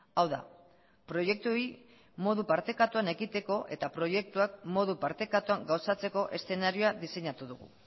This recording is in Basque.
hau da proiektuei modu partekatuan ekiteko eta proiektuak modu partekatuan gauzatzeko eszenarioa diseinatu dugu